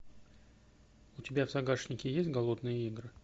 у тебя в загашнике есть голодные игры